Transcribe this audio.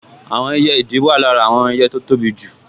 Àwọn ẹyẹ ìdì wà lára àwọn ẹyẹ tó tóbi jù